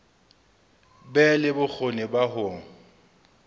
be le bokgoni ba ho